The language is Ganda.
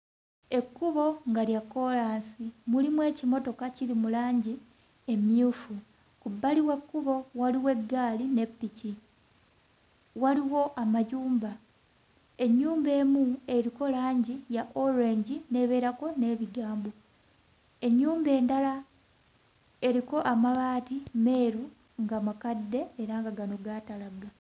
Ekkubo nga lya kkoolaasi, mulimu ekimotoka kiri mu langi emmyufu. Ku bbali w'ekkubo waliwo eggaali ne ppiki, waliwo amayumba. Ennyumba emu eriko langi ya orange n'ebeerako n'ebigambo, ennyumba endala eriko amabaati meeru nga makadde era nga gano gaatalagga.